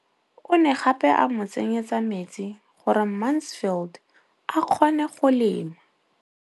O ne gape a mo tsenyetsa metsi gore Mansfield a kgone go lema.